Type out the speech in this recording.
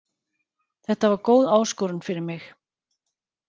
Þetta var góð áskorun fyrir mig.